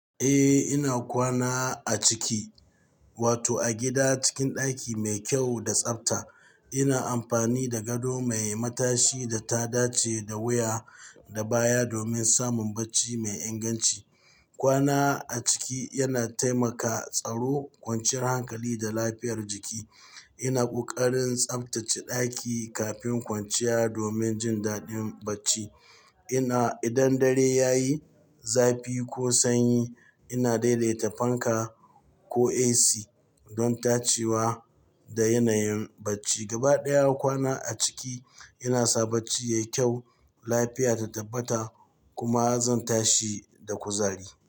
Eh, ina kwana a ciki, wato a gida cikin ɗaki mai kyau da tsabta. Ina amfani da gado mai matashi da ta dace da wuya da baya domin samun bacci mai inganci. Kwana a ciki yana taimaka tsaro kwanciyar hankali da lafiyar jiki. Ina kokarin tsabtace ɗaki kafin kwanciya domin jin daɗin bacci. Ina idan dare ya yi zafi ko sanyi, ina daidaita fanka ko AC don dacewa da yanayin bacci. Gaba ɗaya kwana a ciki yana sa bacci yayi kyau, lafiya ta tabbata kuma zan tashi da kuzari.